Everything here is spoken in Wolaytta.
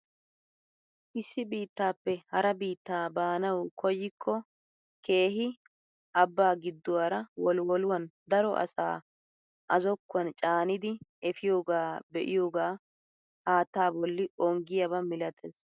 Issi biittaappe hara biittaa baanawu koyikko keehi abbaa gidduwaara wolwoluwaan daro asaa a zokkuwaan caanidi efiyoogaa be'iyoogaa haattaa bolli onggiyaaba milatees!